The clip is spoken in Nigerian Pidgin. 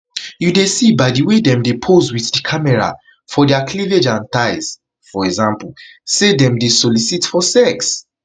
you dey see by di way dem dey pose wit di camera for dia cleavage and thighs [for example] say dem dey solicit for sex